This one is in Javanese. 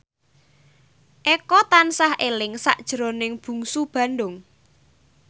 Eko tansah eling sakjroning Bungsu Bandung